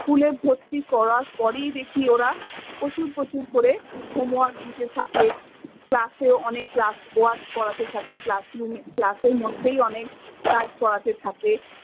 School এ ভর্তি করার পরেই দেখি ওরা প্রচুর প্রচুর করে home work দিতে থাকে। Class এও অনেক class work করাতে থাকে class room এ class এর মধ্যেই অনেক কাজ করাতে থাকে।